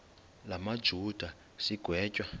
la majuda sigwetywa